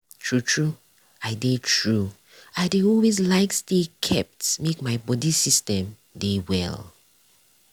true true i dey true i dey always like stay kept make my bodi system dey well.